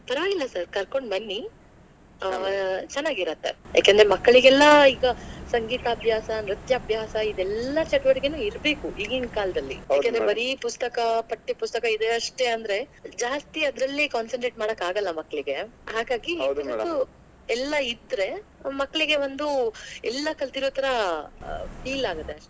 ಪರವಾಗಿಲ್ಲ sir ಕರ್ಕೊಂಡ್ ಬನ್ನಿ ಆಹ್ ಚೆನ್ನಾಗಿರತ್ತೆ, ಯಾಕೆಂದ್ರೆ ಮಕ್ಕಳಿಗೆಲ್ಲಾ ಈಗ ಸಂಗೀತ ಅಭ್ಯಾಸ, ನೃತ್ಯ ಅಭ್ಯಾಸ ಇದೆಲ್ಲಾ ಚಟುವಟಿಕೆನೂ ಇರಬೇಕು ಈಗಿನ್ ಕಾಲದಲ್ಲಿ, ಬರಿ ಪುಸ್ತಕಾ, ಪಠ್ಯ ಪುಸ್ತಕಾ ಇದೆ ಅಷ್ಟೇ ಅಂದ್ರೆ ಜಾಸ್ತಿ ಅದ್ರಲ್ಲೇ concentrate ಮಾಡಕ್ಕಾಗಲ್ಲ ಮಕ್ಕಳಿಗೆ, ಹಾಗಾಗಿ ಎಲ್ಲ ಇದ್ರೆ ಮಕ್ಕಳಿಗೆ ಒಂದು ಎಲ್ಲಾ ಕಲ್ತಿರೋ ಥರಾ feel ಆಗುತ್ತೆ ಅಷ್ಟೇ.